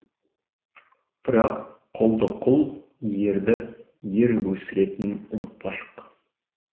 бірақ құлды құл ерді ер өсіретінін ұмытпайық